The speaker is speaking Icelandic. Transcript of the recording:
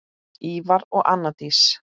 Ívar og Anna Dís.